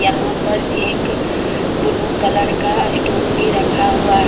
यहां पर एक ब्लू कलर का स्टूल भी रखा हुआ है।